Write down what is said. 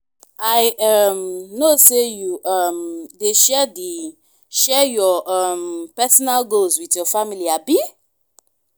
i um know say you um dey share dey share your um personal goals with your family abi?